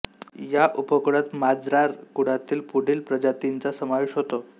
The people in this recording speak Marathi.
या उपकुळात मार्जार कुळातील पुढील प्रजातींचा समावेश होतो